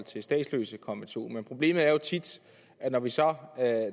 til statsløsekonventionen men problemet er jo tit at når vi så